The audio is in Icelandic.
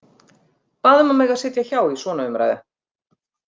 Bað um að mega sitja hjá í svona umræðu.